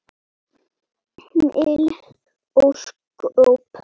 Mikil ósköp.